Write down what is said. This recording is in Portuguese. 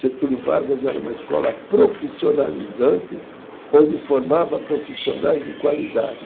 Getúlio Vargas era uma escola profissionalizante, onde formava profissionais de qualidade.